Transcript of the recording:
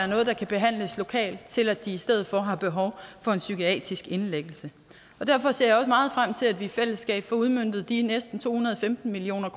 noget der kan behandles lokalt til at de i stedet for har behov for en psykiatrisk indlæggelse derfor ser jeg også meget frem til at vi i fællesskab får udmøntet de næsten to hundrede og femten million